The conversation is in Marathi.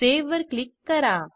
सावे वर क्लिक करा